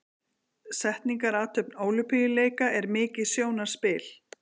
Setningarathöfn Ólympíuleika er mikið sjónarspil.